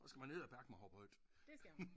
Så skal man edderbakme hoppe højt